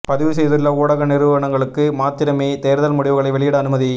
பதிவு செய்துள்ள ஊடக நிறுவனங்களுக்கு மாத்திரமே தேர்தல் முடிவுகளை வெளியிட அனுமதி